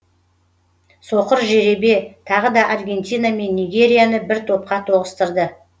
соқыр жеребе тағы да аргентина мен нигерияны бір топқа тоғыстырды